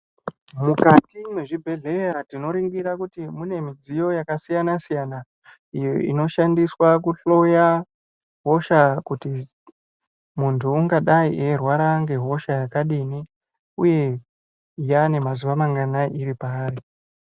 Mukati mwezvibhedhleya tinoningira kuti, mune midziyo yakasiyana-siyana, iyo inoshandiswa kuhloya, hosha kuti, muntu ungadai eirwara ngehosha yakadini, uye yaane mazuwa manganai iri paari.